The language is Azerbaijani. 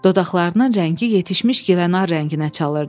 Dodaqlarının rəngi yetişmiş gilənar rənginə çalırdı.